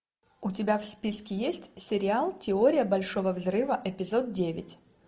у тебя в списке есть сериал теория большого взрыва эпизод девять